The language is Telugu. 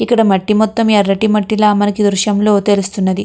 ఇక్కడ మట్టి మొత్తము ఎర్రటి మట్టిల మనకి ఈ దృశ్యంలో తెలుస్తున్నది.